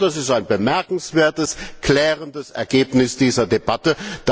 Das ist ein bemerkenswertes, klärendes Ergebnis dieser Debatte.